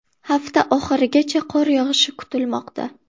Hafta oxirigacha qor yog‘ishi kutilmoqda.